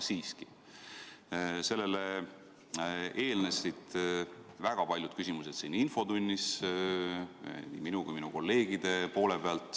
Ja sellele eelnesid väga paljud küsimused siin infotunnis nii minult kui ka minu kolleegidelt.